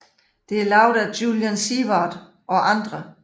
Det er lavet af Julian Seward og andre